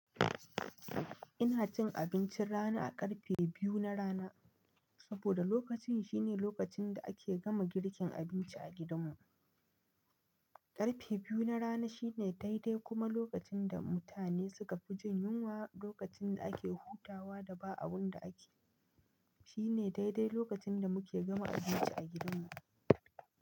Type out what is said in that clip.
Ina cin abincin rana a ƙarfe biyu na rana saboda lokacin shine lokacin da ake gama girkin abinci a gidanmu. Ƙarfe biyu na rana shine dai-dai kuma lokacin da mutane suka fi jin yunwa, lokacin da ake hutawa da ba abun da ake. Shine dai-dai lokacin da muke gama abinci a gidanmu.